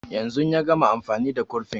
Yanzun ya gama amfani da kurfin